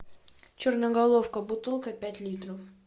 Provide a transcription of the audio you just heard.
черноголовка бутылка пять литров